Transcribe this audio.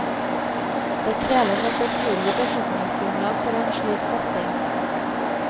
Det kreves et betydelig befolkningsgrunnlag for en slik satsing.